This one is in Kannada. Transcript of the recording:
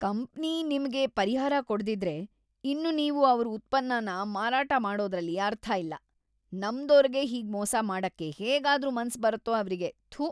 ಕಂಪನಿ ನಿಮ್ಗೆ ಪರಿಹಾರ ಕೊಡ್ದಿದ್ರೆ, ಇನ್ನು ನೀವು ಅವ್ರ್‌ ಉತ್ಪನ್ನನ ಮಾರಾಟ ಮಾಡೋದ್ರಲ್ಲಿ ಅರ್ಥ ಇಲ್ಲ, ನಂಬ್ದೋರ್ಗೆ ಹೀಗ್‌ ಮೋಸ ಮಾಡಕ್ಕೆ ಹೇಗಾದ್ರೂ ಮನ್ಸ್ ಬರತ್ತೋ ಅವ್ರಿಗೆ, ಥು.